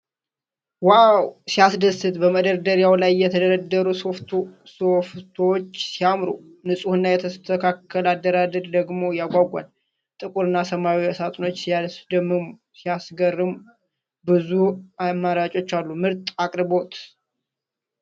ዋው! ሲያስደስት! በመደርደሪያ ላይ የተደረደሩት ሶፍቶዎች ሲያምሩ! ንጹህና የተስተካከለ አደራደር ደግሞ ያጓጓል። ጥቁርና ሰማያዊ ሳጥኖች ሲያስደምሙ! ሲያስገርም! ብዙ አማራጮች አሉ! ምርጥ አቅርቦት!